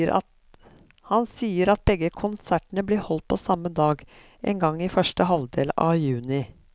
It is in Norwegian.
Han sier at begge konsertene blir holdt på samme dag, en gang i første halvdel av juni.